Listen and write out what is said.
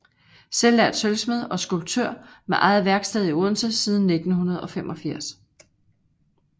Selvlært sølvsmed og skulptør med eget værksted i Odense siden 1985